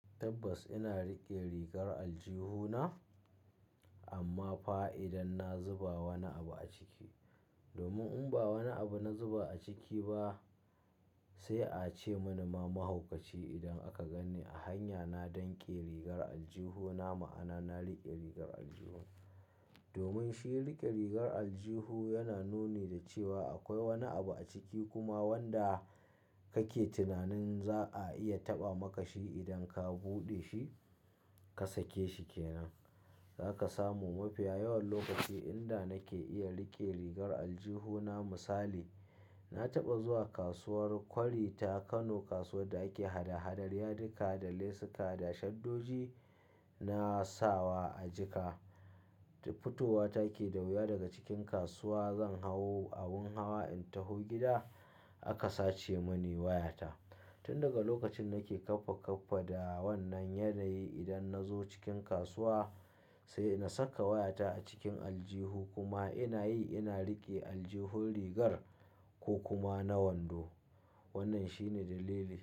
Tabbas ina riƙe rigar aljihu na, amma fa idan na zuba wani abu a ciki. Domin in ba wani abu na zuba a ciki ba sai a ce mana mahaukaci idan aka ganni a hanyana. Danƙe rigar aljihu na ma'ana na riƙe rigar aljihu. Domin shi riƙe rigar aljihu yana nuni da cewa akwai wani abu a ciki kuma wanda kake tunanin za a iya taɓa maka shi idan ka buɗe shi ka sake shi kenan. Zaka samu mafiya yawan lokaci inda nake iya riƙe rigar aljihu na. Misali, na taɓa zuwa kasuwar kwari ta Kano, kasuwar da ake hada-hadar yadika da lesuka da shaddoji na sawa a jika. Fitowata ke da wuya daga cikin kasuwa. Zan hau abin hawa in taho gida. Aka sace mani wayata. Tun daga lokacin nake kaffa kaffa da wannan yanayi. Idan na zo cikin kasuwa sai na saka wayata a cikin aljihu kuma ina yi ina riƙe aljihun rigar ko kuma na wando. Wannan shine dalili.